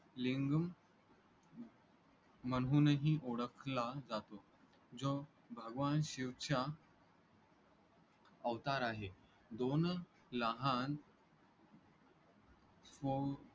लिंगम म्हणूनही ओळखला जातो. जो भगवान शिवचा अवतार आहे. दोन लहान